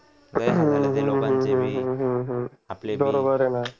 बरोबर आहे ना